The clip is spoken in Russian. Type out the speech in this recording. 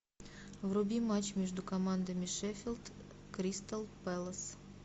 вруби матч между командами шеффилд кристал пэлас